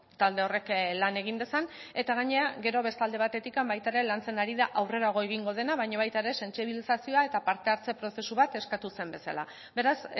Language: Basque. talde horrek lan egin dezan eta gainera gero beste alde batetik baita ere lantzen ari da aurrerago egingo dena baina baita ere sentsibilizazioa eta parte hartze prozesu bat eskatu zen bezala beraz